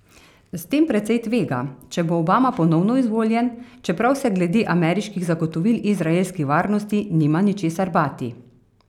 S tem precej tvega, če bo Obama ponovno izvoljen, čeprav se glede ameriških zagotovil izraelski varnosti nima ničesar bati.